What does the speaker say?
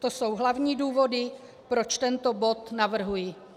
To jsou hlavní důvody, proč tento bod navrhuji.